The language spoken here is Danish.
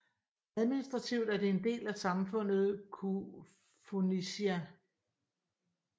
Administrativt er det en del af samfundet Koufonisia